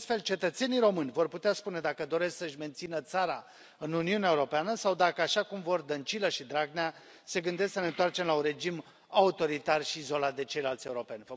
În acest fel, cetățenii români vor putea spune dacă doresc să își mențină țara în Uniunea Europeană sau, dacă așa cum vor Dăncilă și Dragnea, se gândesc să ne întoarcem la un regim autoritar și izolat de ceilalți europeni.